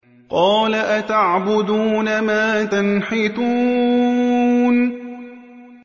قَالَ أَتَعْبُدُونَ مَا تَنْحِتُونَ